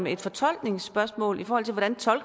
et fortolkningsspørgsmål i forhold til hvordan